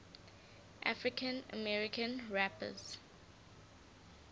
african american rappers